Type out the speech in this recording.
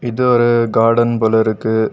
இது ஒரு கார்டன் போலிருக்கு.